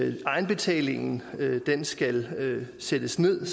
egenbetalingen skal sættes ned